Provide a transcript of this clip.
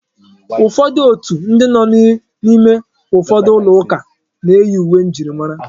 Ụfọdụ òtù ndị nọ n'ime ụfọdụ ụlọ ụka na-eyi uwe njirimara.